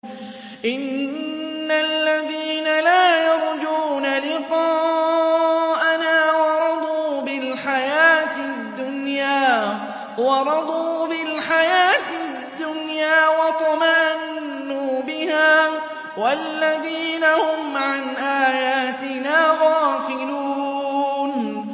إِنَّ الَّذِينَ لَا يَرْجُونَ لِقَاءَنَا وَرَضُوا بِالْحَيَاةِ الدُّنْيَا وَاطْمَأَنُّوا بِهَا وَالَّذِينَ هُمْ عَنْ آيَاتِنَا غَافِلُونَ